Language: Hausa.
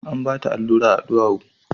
An bata allura a duwawu